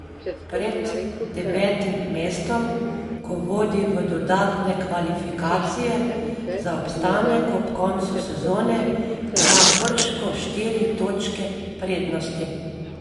Pred devetim mestom, ki vodi v dodatne kvalifikacije za obstanek ob koncu sezone, ima Krško štiri točke prednosti.